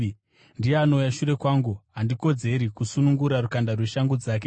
Ndiye anouya shure kwangu, handikodzeri kusunungura rukanda rweshangu dzake.”